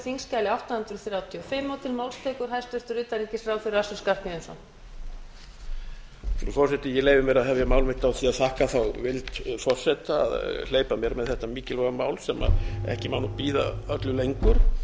frú forseti ég leyfi mér að hefja mál mitt á því að þakka þá vild forseta að hleypa mér með þetta mikilvæga mál sem ekki má nú bíða öllu lengur